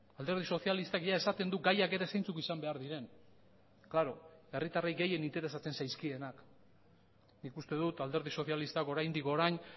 alderdi sozialistak esaten du gaiak ere zeintzuk izan behar diren klaro herritarrei gehien interesatzen zaizkienak nik uste dut alderdi sozialistak oraindik orain